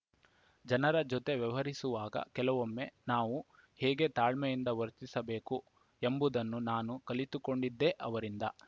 ಜನರ ಜೊತೆ ವ್ಯವಹರಿಸುವಾಗ ಕೆಲವೊಮ್ಮೆ ನಾವು ಹೇಗೆ ತಾಳ್ಮೆಯಿಂದ ವರ್ತಿಸಬೇಕು ಎಂಬುದನ್ನು ನಾನು ಕಲಿತುಕೊಂಡಿದ್ದೇ ಅವರಿಂದ